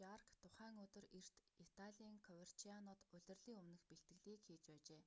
жарк тухайн өдөр эрт италийн коверчианод улирлын өмнөх бэлтгэлийг хийж байжээ